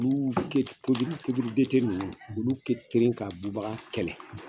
ninnu olu kɛteli ka bubaga kɛlɛ.